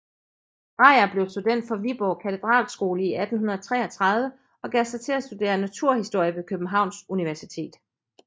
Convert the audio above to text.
Drejer blev student fra Viborg Katedralskole i 1833 og gav sig til at studere naturhistorie ved Københavns Universitet